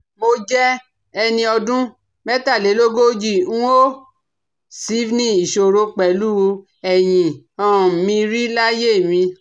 Mo jẹ́ ẹni ọdún mẹ́tàlélógójì n ò sìvní ìṣòro pẹ̀lú ẹ̀yìn um mi rí láyé mi